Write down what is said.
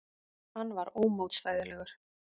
Hann var ómótstæðilegur.